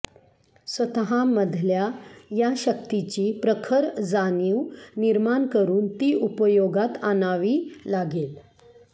स्वतः मधल्या या शक्तीची प्रखर जाणीव निर्माण करून ती उपयोगात आणावी लागेल